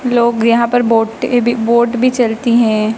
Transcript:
लोग यहाँ पर बोटें भी बोट भी चलती हैं।